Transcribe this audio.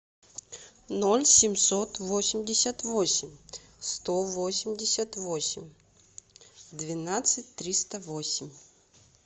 ноль семьсот восемьдесят восемь сто восемьдесят восемь двенадцать триста восемь